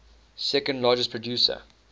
second largest producer